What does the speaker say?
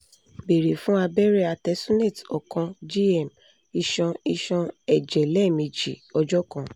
beere fun abẹrẹ artesunate ọkan gm iṣan iṣọn-ẹjẹ lẹmeji ọjọ kan